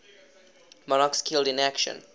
monarchs killed in action